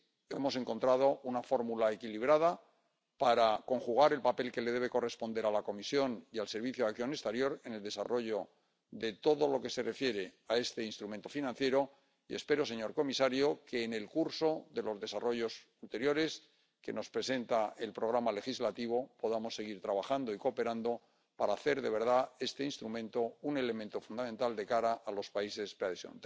Hemos encontrado una fórmula equilibrada para conjugar el papel que debe corresponder a la Comisión y al Servicio de Acción Exterior en el desarrollo de todo lo que se refiere a este instrumento financiero y espero, señor comisario, que en el curso de los desarrollos anteriores que nos presenta el programa legislativo podamos seguir trabajando y cooperando para hacer de verdad d instrumento un elemento fundamental de cara a los países de la preadhesión.